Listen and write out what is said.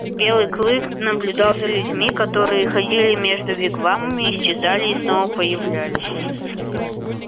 белый клык наблюдал за людьми которые ходили между вигвамами исчезали снова появлялись